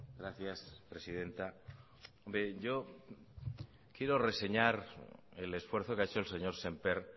gracias presidenta yo quiero reseñar el esfuerzo que ha hecho el señor sémper